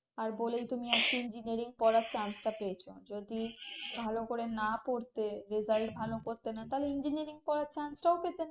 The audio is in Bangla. আর বলেই তুমি আজকে engineering পড়ার chance টা পেয়েছো যদি ভালো করে না পড়তে result ভালো করতে না তাহলে engineering পড়ার chance টাও পেতে না